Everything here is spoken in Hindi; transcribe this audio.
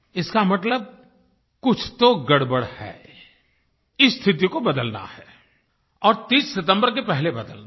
इसका मतलब कुछ तो गड़बड़ है इस स्थिति को बदलना है और 30 सितम्बर के पहले बदलना है